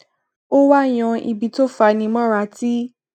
ó wá yan ibi tó fani móra tí